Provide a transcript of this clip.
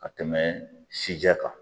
Ka tɛmɛ sijɛ kan.